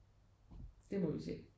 Det må vi se